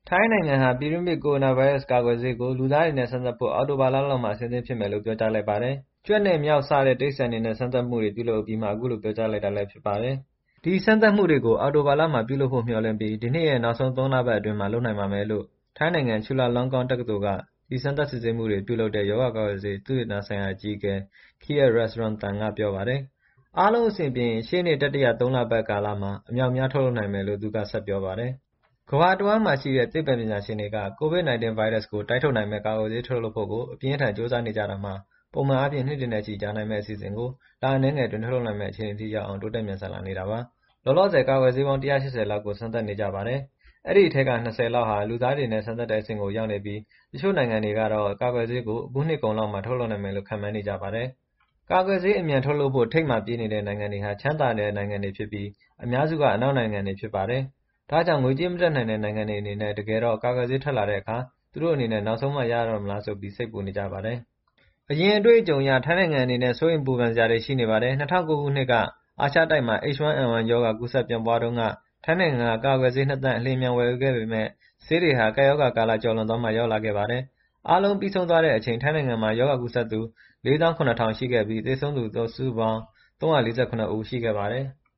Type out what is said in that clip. ထိုင်းနိုင်ငံဟာ ပြည်တွင်းဖြစ် ကိုရိုနာဗိုင်းရပ်စ်ကာကွယ်ဆေးကို လူသားတွေနဲ့ စမ်းသပ်ဖို့ အောက်တိုဘာလလောက်မှာ အဆင်သင့်ဖြစ်မယ်လို့ ပြောကြားလိုက်ပါတယ်။ ကြွက်နဲ့ မျောက် စတဲ့တိရိစ္ဆာန်တွေနဲ့ စမ်းသပ်မှုတွေ ပြုလုပ်အပြီးမှာ အခုလို ပြောကြားလိုက်တာ ဖြစ်ပါတယ်။ “ဒီစမ်းသပ်မှုတွေကို အောက်တိုဘာလမှာ ပြုလုပ်ဖို့မျှော်လင့်ပြီး ဒီနှစ်ရဲ့ နောက်ဆုံး ၃ လပတ် အတွင်းမှာ လုပ်နိုင်ပါမယ်” - လို့ ထိုင်းနိုင်ငံ Chulalongkorn တက္ကသိုလ်က ဒီစမ်းသပ် စစ်ဆေးမှုတွေကို ပြုလုပ်တဲ့ ရောဂါကာကွယ်ဆေး သုတေသနဆိုင်ရာ အကြီးအကဲ Kiat Ruxrungtham က ပြောပါတယ်။ အားလုံးအဆင်ပြေရင် ရှေ့နှစ် တတိယ ၃ လပတ်ကာလလောက်မှာ အများအပြား ထုတ်လုပ်နိုင်မယ်လို့ သူက ဆက်ပြောပါတယ်။ ကမ္ဘာတဝှမ်းမှာရှိတဲ့ သိပ္ပံပညာရှင်တွေက COVID-19 ဗိုင်းရပ်စ်ကို တိုက်ထုတ်နိုင်မယ့် ကာကွယ်ဆေး ထုတ်လုပ်ဖို့ကို အပြင်းအထန် ကြိုးစားနေကြတာမှာ ပုံမှန်အားဖြင့် နှစ်တွေနဲ့ချီ ကြာနိုင်မယ့် အစီအစဉ်ကို လအနည်းငယ်အတွင်း ထုတ်လုပ်နိုင်မယ့် အခြေအနေထိ တိုးတက် မြန်ဆန် လာနေတာပါ။ လောလောဆယ် ကာကွယ်ဆေးပေါင်း ၁၈၀ လောက်ကို စမ်းသပ်နေကြပါတယ်။ အဲဒီအထဲက ၂၀ လောက်ဟာ လူသားတွေနဲ့ စမ်းသပ်တဲ့အဆင့်ကို ရောက်နေပြီး တချို့နိုင်ငံတွေတော့ ကာကွယ်ဆေးကို အခုနှစ်ကုန်လောက်မှာ ထုတ်လုပ်နိုင်မယ်လို့ ခန့်မှန်းနေကြပါတယ်။ ကာကွယ်ဆေး အမြန်ထုတ်နိုင်ဖို့ ထိပ်မှာပြေးနေတဲ့ နိုင်ငံတွေဟာ ချမ်းသာတဲ့နိုင်ငံတွေဖြစ်ပြီး အများစုဟာ အနောက်နိုင်ငံတွေဖြစ်ပါတယ်။ ဒါကြောင့် ငွေကြေးမတတ်နိုင်တဲ့နိုင်ငံတွေအနေနဲ့ တကယ်တမ်း ကာကွယ်ဆေးထွက်လာတဲ့အခါ သူတို့အနေနဲ့ နောက်ဆုံးမှရတော့မလားဆိုပြီး စိုးရိမ် ပူပန်နေကြပါတယ်။ အရင် အတွေ့အကြုံတွေအရ ထိုင်းနိုင်ငံအနေနဲ့ စိုးရိမ်ပူပန်စရာတွေ ရှိနေပါတယ်။ ၂၀၀၉ ခုနှစ်က အာရှတိုက်မှာ H1N1 ရောဂါ ကူးစက် ပြန့်ပွားတဲ့အချိန်တုန်းက ထိုင်းနိုင်ငံက ကာကွယ်ဆေး ၂ သန်း အလျင်အမြန် ဝယ်ယူခဲ့ပေမယ့် ဆေးတွေဟာ ကပ်ရောဂါကာလ ကျော်လွန်သွားမှ ရောက်လာ ခဲ့ပါတယ်။ အားလုံးပြီးဆုံးသွားတဲ့အချိန် ထိုင်းနိုင်ငံမှာ H1N1 ကူးစက်သူ ၄၇,၀၀၀ ရှိခဲ့ပြီး သေဆုံးသူ စုစုပေါင်း ၃၄၇ ဦးရှိခဲ့ပါတယ်။